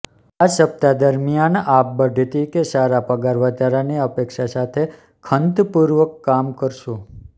આ સપ્તાહ દરમિયાન આપ બઢતી કે સારા પગાર વધારાની અપેક્ષા સાથે ખંત પૂર્વક કામ કરશો